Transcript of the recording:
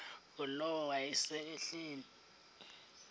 ngulowo wayesel ehleli